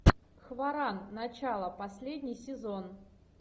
хваран начало последний сезон